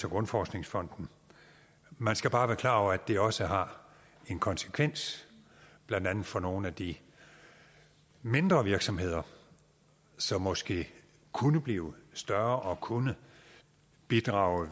grundforskningsfonden man skal bare være klar over at det også har en konsekvens blandt andet for nogle af de mindre virksomheder som måske kunne blive større og kunne bidrage